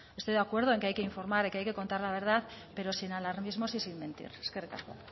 estoy de acuerdo en que hay que informar de que hay que contar la verdad pero sin alarmismos y sin mentir eskerrik asko